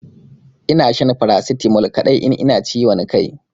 Ina shan paracetamol kadai in ina da ciwon Kai.